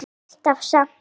Ekki alltaf samt.